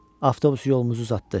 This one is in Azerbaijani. Avtobus yolumuzu uzatdı.